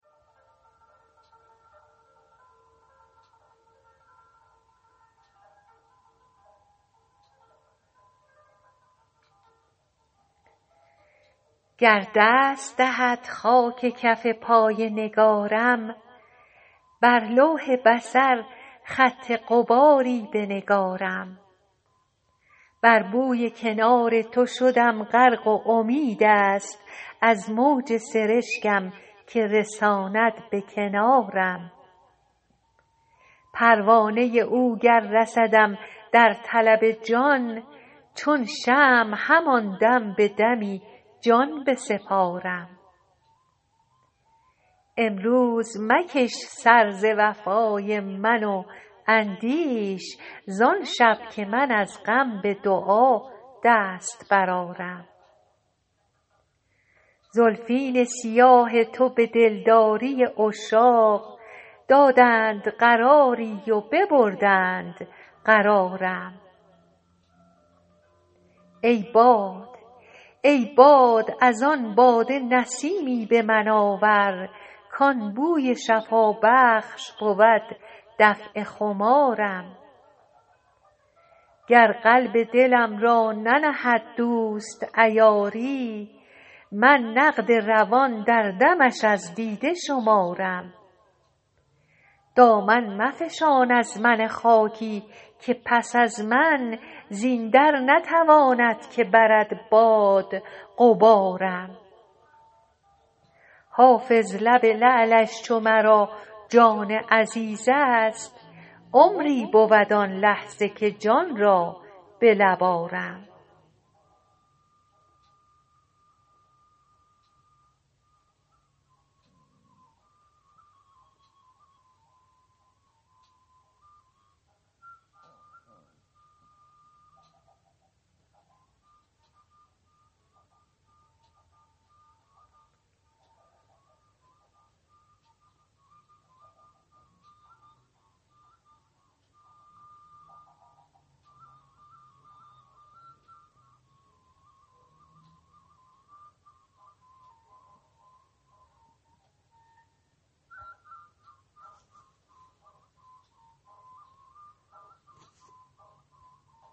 گر دست دهد خاک کف پای نگارم بر لوح بصر خط غباری بنگارم بر بوی کنار تو شدم غرق و امید است از موج سرشکم که رساند به کنارم پروانه او گر رسدم در طلب جان چون شمع همان دم به دمی جان بسپارم امروز مکش سر ز وفای من و اندیش زان شب که من از غم به دعا دست برآرم زلفین سیاه تو به دلداری عشاق دادند قراری و ببردند قرارم ای باد از آن باده نسیمی به من آور کان بوی شفابخش بود دفع خمارم گر قلب دلم را ننهد دوست عیاری من نقد روان در دمش از دیده شمارم دامن مفشان از من خاکی که پس از من زین در نتواند که برد باد غبارم حافظ لب لعلش چو مرا جان عزیز است عمری بود آن لحظه که جان را به لب آرم